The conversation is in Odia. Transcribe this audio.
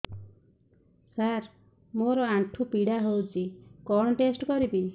ସାର ମୋର ଆଣ୍ଠୁ ପୀଡା ହଉଚି କଣ ଟେଷ୍ଟ କରିବି